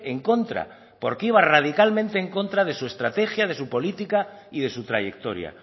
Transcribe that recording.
en contra porque iba radicalmente en contra de su estrategia de su política y de su trayectoria